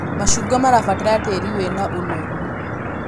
Macungwa mabataraga tĩĩri wĩna ũnoru